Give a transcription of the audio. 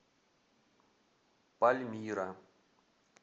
пальмира